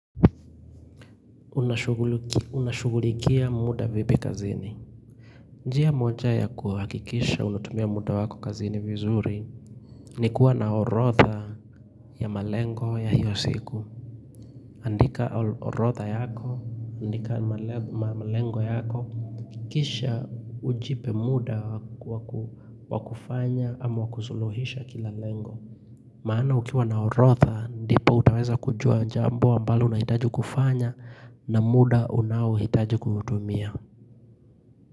Unashughulikia muda vipi kazini njia moja ya kuhakikisha unatumia muda wako kazini vizuri ni kuwa na orodha ya malengo ya hiyo siku andika orodha yako, andika malengo yako Kisha ujipe muda wa kufanya ama kusuluhisha kila lengo Maana ukiwa na orodha ndipo utaweza kujua jambo ambalo unahitaji kufanya na muda unaohitaji kuutumia.